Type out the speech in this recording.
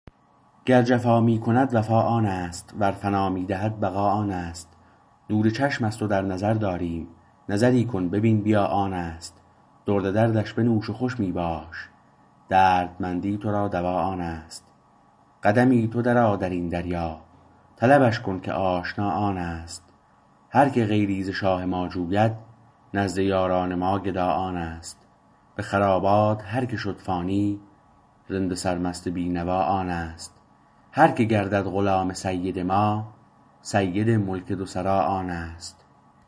گر جفا می کند وفا آنست ور فنا می دهد بقا آنست نور چشم است و در نظر داریم نظری کن ببین بیا آنست درد دردش بنوش و خوش می باش دردمندی تو را دوا آنست قدمی تو در آ درین دریا طلبش کن که آشنا آنست هر که غیری ز شاه ما جوید نزد یاران ما گدا آنست به خرابات هر که فانی شد رند سرمست بینوا آنست هر که گردد غلام سید ما سید ملک دو سرا آنست